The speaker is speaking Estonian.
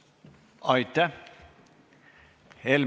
Aitäh!